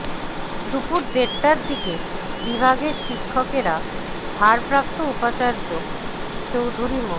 দুপুর দেড়টার দিকে বিভাগের শিক্ষকেরা ভারপ্রাপ্ত উপাচার্য চৌধুরী মো